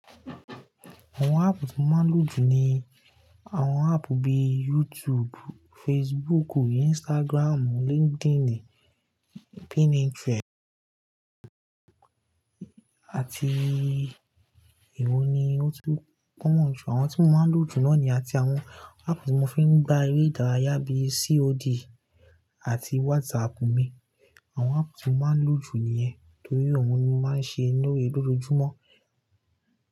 Àwọn app tí mo máa ń lò jù ni àwọn app bíi YouTube, Facebook, Instagram, LinkedIn, Pinterest àti èwo ni ó tún common jù. Àwọn tí mo máa ń lò jù náà niyen àti àwọn app tí mo fi ń gba eré ìdárayá bíi COD àti WhatsApp mi. Àwọn app tí mo máa ń lò jù nìyẹn torí òun ni mo máa ń ṣe loore-- lójoójúmọ́.